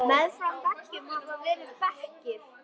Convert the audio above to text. Og vínið maður!